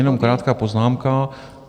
Jenom krátká poznámka.